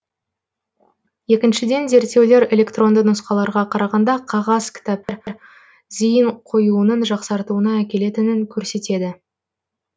екіншіден зерттеулер электронды нұсқаларға қарағанда қағаз кітаптар зейін қоюының жақсартуына әкелетінін көрсетеді